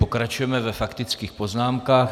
Pokračujeme ve faktických poznámkách.